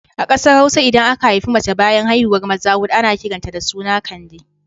A ƙasar Hausa idan aka haifi mace bayan haihuwar maza huɗu ana kiran ta da suna Kande